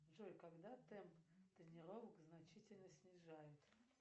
джой когда темп тренировок значительно снижают